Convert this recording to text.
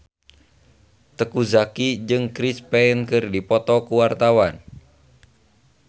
Teuku Zacky jeung Chris Pane keur dipoto ku wartawan